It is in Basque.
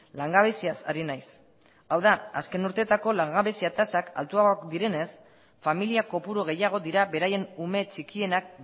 langabeziaz ari naiz hau da azken urteetako langabezia tasak altuagoak direnez familia kopuru gehiago dira beraien ume txikienak